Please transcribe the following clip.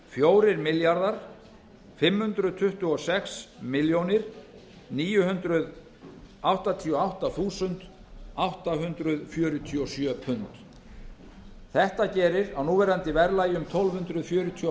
fjórir milljarðar fimm hundruð tuttugu og sex milljónir níu hundruð áttatíu og átta þúsund átta hundruð fjörutíu og sjö pund þetta gerir á núverandi verðlagi um tólf hundruð fjörutíu og